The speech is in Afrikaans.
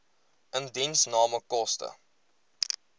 indiensname koste